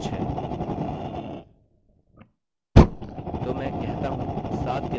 तो मैं कहता हूँ 7 के बाद से name खोजें